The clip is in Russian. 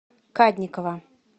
кадникова